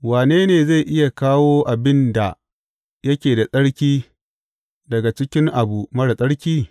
Wane ne zai iya kawo abin da yake da tsarki daga cikin abu marar tsarki?